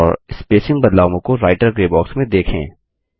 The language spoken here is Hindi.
और स्पेसिंग बदलावों को राईटर ग्रे बॉक्स में देखें